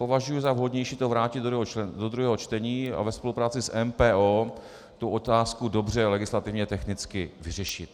Považuji za vhodnější to vrátit do druhého čtení a ve spolupráci s MPO tu otázku dobře legislativně technicky vyřešit.